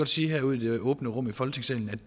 sige her ud i det åbne rum i folketingssalen